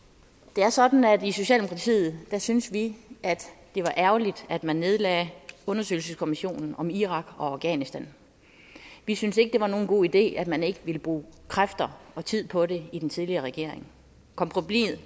det er sådan at i socialdemokratiet synes vi at det var ærgerligt at man nedlagde undersøgelseskommissionen om irak og afghanistan vi synes ikke det var nogen god idé at man ikke ville bruge kræfter og tid på det i den tidligere regering